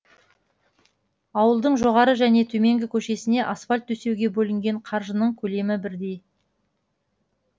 ауылдың жоғары және төменгі көшесіне асфальт төсеуге бөлінген қаржының көлемі бірдей